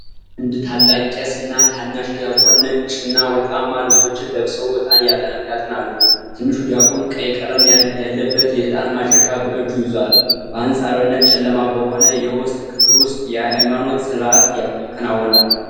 አንድ ታላቅ ቄስ እና ታናሽ ዲያቆን ነጭና ወርቃማ ልብሶችን ለብሰው ዕጣን ያጥናሉ። ትንሹ ዲያቆን ቀይ ቀለም ያለበት የዕጣን ማጨሻ በእጁ ይዟል። በአንፃራዊነት ጨለማ በሆነ የውስጥ ክፍል ውስጥ የሃይማኖታዊ ሥርዓት ይከናወናል።